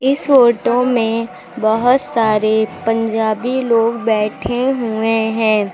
इस फोटो में बहोत सारे पंजाबी लोग बैठे हुए हैं।